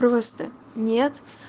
просто нет